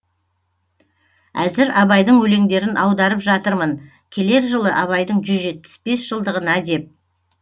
әзір абайдың өлеңдерін аударып жатырмын келер жылы абайдың жүз жетпіс бес жылдығына деп